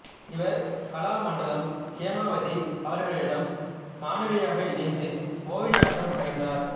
இவர் கலாமண்டலம் ஹேமாவதி அவர்களிடம் மாணவியாக இணைந்து மோகினியாட்டம் பயின்றார்